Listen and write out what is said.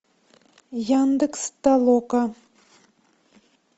яндекс толока